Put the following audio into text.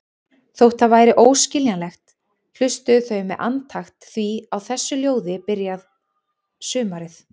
Þótt það væri óskiljanlegt, hlustuðu þau með andakt því á þessu ljóði byrjar sumarið.